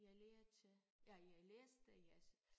Jeg lærte jeg jeg læste jeg